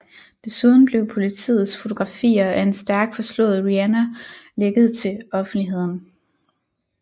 Desuden blev politiets fotografier af en stærkt forslået Rihanna lækket til offentligheden